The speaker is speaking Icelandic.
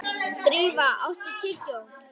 Drífa, áttu tyggjó?